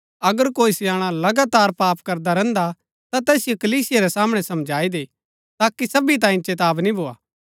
अगर कोई स्याणा लगातार पाप करदा रैहन्दा हा ता तैसिओ कलीसिया रै सामणै समझाई दै ताकि सबी तांये चेतावनी भोआ